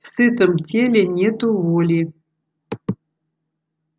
в сытом теле нету воли